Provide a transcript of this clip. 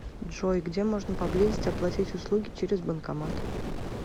джой где можно поблизости оплатить услуги через банкомат